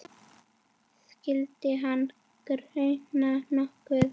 Skyldi hana gruna nokkuð?